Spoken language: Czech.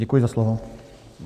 Děkuji za slovo.